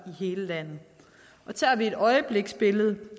i hele landet og tager vi et øjebliksbillede